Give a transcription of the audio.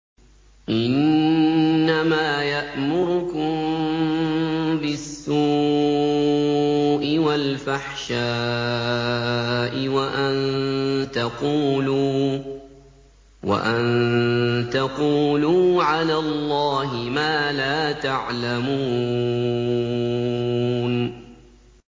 إِنَّمَا يَأْمُرُكُم بِالسُّوءِ وَالْفَحْشَاءِ وَأَن تَقُولُوا عَلَى اللَّهِ مَا لَا تَعْلَمُونَ